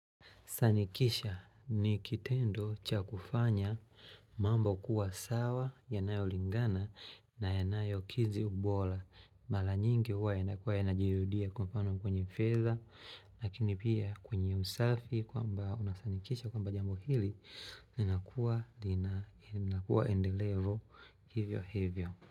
Sanikisha ni kitendo cha kufanya mambo kuwa sawa yanayolingana na yanayo kizi bora. Mara nyingi huwa yanakuwa yanajirudia kwa mfano kwenye fedha. Lakini pia kwenye usafi kwamba unasanikisha kwamba jambo hili. Nakuwa lina linakuaendelelo hivyo hivyo.